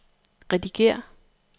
redigér